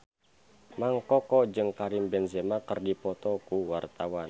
Mang Koko jeung Karim Benzema keur dipoto ku wartawan